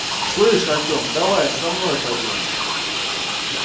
слышь артём давай со мной пойдёшь